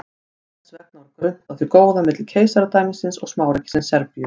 Þess vegna var grunnt á því góða milli keisaradæmisins og smáríkisins Serbíu.